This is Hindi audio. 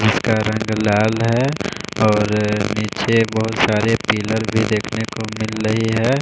जिसका रंग लाल है और नीचे बहोत सारे पिलर भी देखने को मिल रही है।